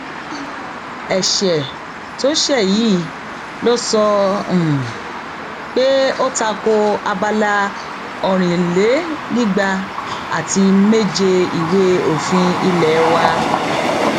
ẹsẹ um tó ṣe yìí ló sọ um pé ó ta ko abala ọrìnlénígba àti méje ìwé òfin ilé wa